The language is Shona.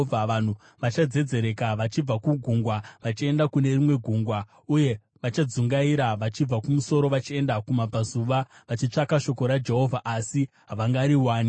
Vanhu vachadzedzereka vachibva kugungwa vachienda kune rimwe gungwa, uye vachadzungaira vachibva kumusoro vachienda kumabvazuva, vachitsvaka shoko raJehovha, asi havangariwani.